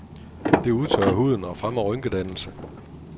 Det udtørrer huden og fremmer rynkedannelse.